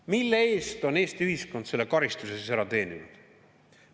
Mille eest on Eesti ühiskond selle karistuse ära teeninud?